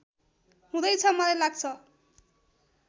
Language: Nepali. हुँदैछ मलाई लाग्छ